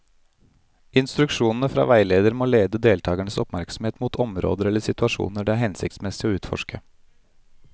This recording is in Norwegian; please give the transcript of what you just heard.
Instruksjonene fra veileder må lede deltakernes oppmerksomhet mot områder eller situasjoner det er hensiktsmessig å utforske.